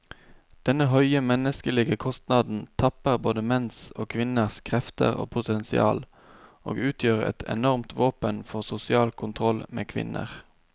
Denne høye menneskelige kostnaden tapper både menns og kvinners krefter og potensial, og utgjør et enormt våpen for sosial kontroll med kvinner.